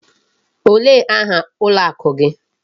Olee aha ụlọ ụka gị?